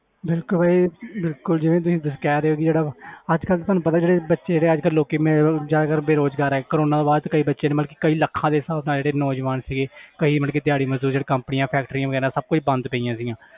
ਬਿਲਕੁਲ ਭਾਜੀ ਬਿਲਕੁਲ ਜਿਵੇਂ ਤੁਸੀਂ ਕਹਿ ਰਹੇ ਹੋ ਕਿ ਜਿਹੜਾ ਅੱਜ ਕੱਲ੍ਹ ਤੁਹਾਨੂੰ ਪਤਾ ਜਿਹੜੇ ਬੱਚੇ ਜ਼ਿਆਦਾਤਰ ਲੋਕੀ ਮਤਲਬ ਜ਼ਿਆਦਾਤਰ ਬੇਰੁਜ਼ਗਾਰ ਹੈ ਕੋਰੋਨਾ ਤੋਂ ਬਾਅਦ ਕਈ ਬੱਚੇ ਨੇ ਮਤਲਬ ਕਿ ਕਈ ਲੱਖਾਂ ਦੇ ਹਿਸਾਬ ਨਾਲ ਜਿਹੜੇ ਨੌਜਵਾਨ ਸੀਗੇ ਕਈ ਮਤਲਬ ਦਿਹਾੜੀ ਮਜ਼ਦੂਰ ਜਿਹੜੇ companies factories ਵਗ਼ੈਰਾ ਸਭ ਕੁੱਝ ਬੰਦ ਪਈਆਂ ਸੀਗੀਆਂ